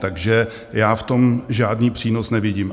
Takže já v tom žádný přínos nevidím.